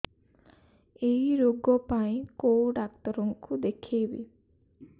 ଏଇ ରୋଗ ପାଇଁ କଉ ଡ଼ାକ୍ତର ଙ୍କୁ ଦେଖେଇବି